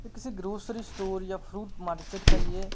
यह किसी grocery store या फ्रूट मार्केट का ये--